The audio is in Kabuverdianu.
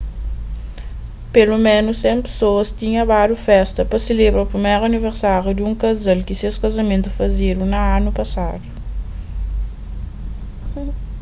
peloménus 100 pesoas tinha badu festa pa selebra priméru aniversáriu di un kazal ki ses kazamentu fazedu na anu pasadu